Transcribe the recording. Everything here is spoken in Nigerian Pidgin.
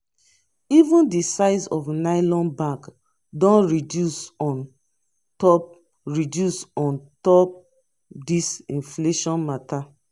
even di size of nylon bag don reduce on top reduce on top dis inflation mata.